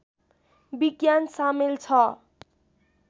विज्ञान सामेल छ